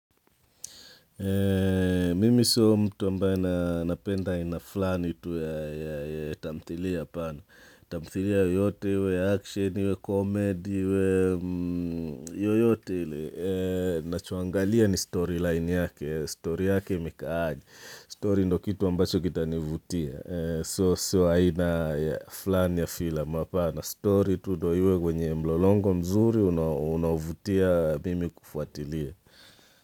Mimi sio mtu ambaye napenda aina fulani tu ya tamthilia, apana. Tamthili yoyote, iwe ya action, iwe comedy, iwe yoyote ile. Nachoangalia ni storyline yake, story yake imekaaje, story ndo kitu ambacho kita nivutia. So, sio aina fulani ya filamu, apana, stori tu ndo iwe kwenye mlolongo mzuri unavutia mimi kufuatilia.